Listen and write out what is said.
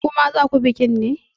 Ku ma za ku bikin ne?